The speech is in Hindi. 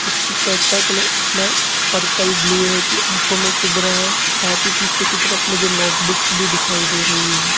इसकी शर्ट का कलर इतना पर्पल ब्लू है की आंखों में चुभ रहा है साथ ही पीछे की तरफ मुझे नोट बुक्स भी दिखाई दे रही है।